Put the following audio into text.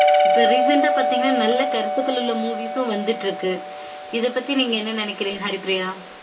இப்ப recent அ பாத்தீக்ங்கனா நல்ல கருத்துகள் உள்ள movies உம் வந்துட்டு இருக்கு